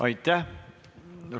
Aitäh!